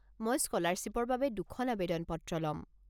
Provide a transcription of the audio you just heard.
মই স্কলাৰশ্বিপৰ বাবে দুখন আৱেদন পত্ৰ ল'ম।